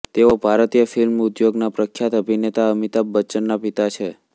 તેઓ ભારતીય ફિલ્મ ઉદ્યોગના પ્રખ્યાત અભિનેતા અમિતાભ બચ્ચનના પિતા છે